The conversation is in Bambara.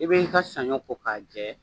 I bɛ i ka saɲɔ ko k'a jɛ